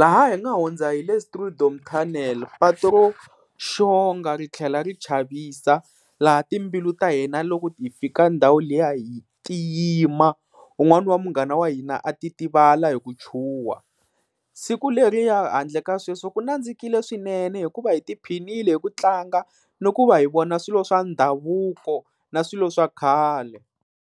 laha hi nga hundza hi le Strijdom Tunnel patu ro xonga ri tlhela ri chavisa, laha timbilu ta hina loko ti fika ndhawu liya ti yima, wun'wani wa munghana wa hina a titivala hi ku chuha. Siku leriya handle ka sweswo ku nandzikile swinene hikuva hi tiphinile hi ku tlanga ni ku va hi vona swilo swa ndhavuko na swilo swa khale.